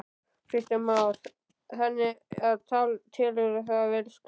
Kristján Már: Þannig að telurðu það vel sloppið?